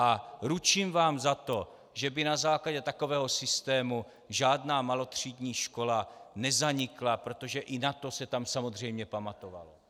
A ručím vám za to, že by na základě takového systému žádná malotřídní škola nezanikla, protože i na to se tam samozřejmě pamatovalo.